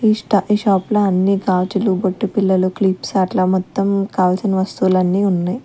ఈ స్టా ఈ షాప్ లో అన్ని గాజులు బొట్టు బిల్లలు క్లిప్స్ అట్లా మొత్తం కావాల్సిన వస్తువులు అన్నీ ఉన్నాయి.